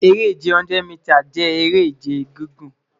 Ere-ije 100 mita jẹ ere-ije gigun